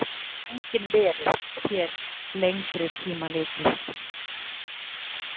En án mín getur enginn verið, sé til lengri tíma litið.